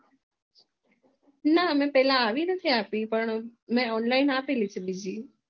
ના પેલા આવી નથી મેં Union આપી છે બીજી